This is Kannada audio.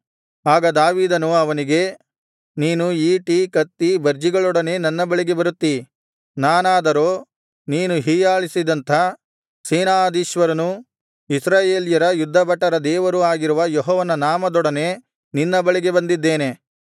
ಆಗ ದಾವೀದನು ಅವನಿಗೆ ನೀನು ಈಟಿ ಕತ್ತಿ ಬರ್ಜಿಗಳೊಡನೆ ನನ್ನ ಬಳಿಗೆ ಬರುತ್ತೀ ನಾನಾದರೋ ನೀನು ಹೀಯಾಳಿಸಿದಂಥ ಸೇನಾಧೀಶ್ವರನೂ ಇಸ್ರಾಯೇಲ್ಯರ ಯುದ್ಧಭಟರ ದೇವರೂ ಆಗಿರುವ ಯೆಹೋವನ ನಾಮದೊಡನೆ ನಿನ್ನ ಬಳಿಗೆ ಬಂದಿದ್ದೇನೆ